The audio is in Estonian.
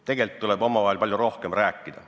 Tegelikult tuleb omavahel palju rohkem rääkida.